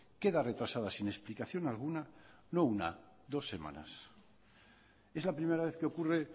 queda retrasada sin explicación alguna no una dos semanas es la primera vez que ocurre